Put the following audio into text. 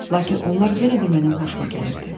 Lakin onlar yenə də mənim xoşuma gəlirdi.